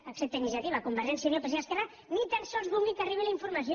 excepte iniciativa convergència i unió psc i esquerra ni tan sols vulguin que arribi la informació